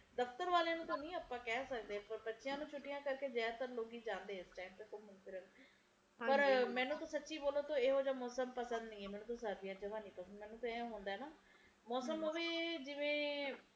ਦਫਤਰ ਵਾਲਿਆਂ ਨੂੰ ਨਹੀਂ ਆਪਾ ਕਹਿ ਸਕਦੇ ਬੱਚਿਆਂ ਨੂੰ ਛੁੱਟੀਆਂ ਕਰਕੇ ਜ਼ਆਦਾਤਰ ਲੋਕ ਹੀ ਜਾਂਦੇ ਆ ਘੁੰਮਣ ਫਿਰਨ ਪਰ ਮੈਨੂੰ ਤਾ ਸਚੀ ਬੋਲੋ ਤਾ ਇਹ ਜਾ ਮੌਸਮ ਪੰਸਦ ਹੀ ਨਹੀਂ ਹੈ ਸਰਦੀਆਂ ਮੈਨੂੰ ਜਵਾ ਨਹੀਂ ਪਸੰਦ ਨਹੀਂ ਹੈ ਮੈਨੂੰ ਤਾ ਅਏ ਹੁੰਦਾ ਹੈ ਨਾ ਮੌਸਮ ਹੋਵੇ ਜਿਵੇ